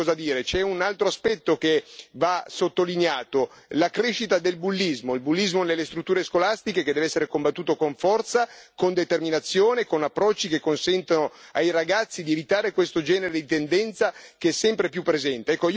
Poi c'è un altro aspetto che va sottolineato la crescita del bullismo nelle strutture scolastiche che deve essere combattuto con forza, con determinazione e con approcci che consentano ai ragazzi di evitare questo genere di tendenza che è sempre più presente.